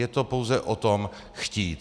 Je to pouze o tom, chtít.